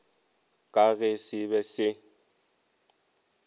ka ge se be se